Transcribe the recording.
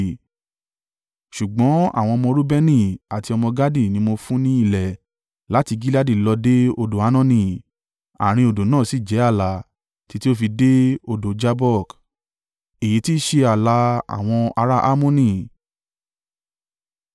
ṣùgbọ́n àwọn ọmọ Reubeni àti ọmọ Gadi ni mo fún ní ilẹ̀ láti Gileadi lọ dé odò Arnoni (àárín odò náà sì jẹ́ ààlà) títí ó fi dé odò Jabbok. Èyí tí i ṣe ààlà àwọn ará Ammoni.